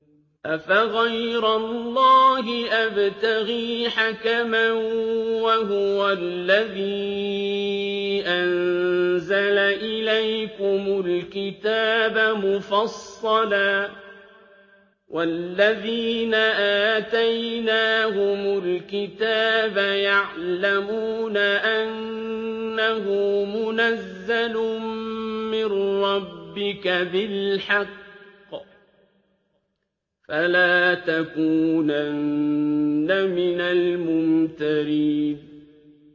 أَفَغَيْرَ اللَّهِ أَبْتَغِي حَكَمًا وَهُوَ الَّذِي أَنزَلَ إِلَيْكُمُ الْكِتَابَ مُفَصَّلًا ۚ وَالَّذِينَ آتَيْنَاهُمُ الْكِتَابَ يَعْلَمُونَ أَنَّهُ مُنَزَّلٌ مِّن رَّبِّكَ بِالْحَقِّ ۖ فَلَا تَكُونَنَّ مِنَ الْمُمْتَرِينَ